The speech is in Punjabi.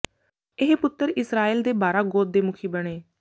ਇਹ ਪੁੱਤਰ ਇਸਰਾਏਲ ਦੇ ਬਾਰਾਂ ਗੋਤ ਦੇ ਮੁਖੀ ਬਣੇ